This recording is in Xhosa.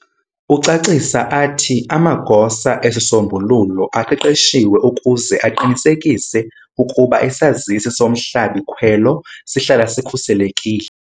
Ucacisa athi, amagosa esisombululo aqeqeshiwe ukuze aqinisekise ukuba isazisi somhlabi-khwelo sihlala sikhuselekile.